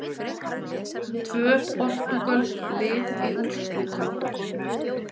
Tvö portúgölsk lið í úrslitum